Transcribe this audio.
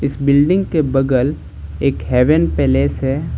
Building के बगल एक हेवन पैलेस है।